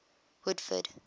woodford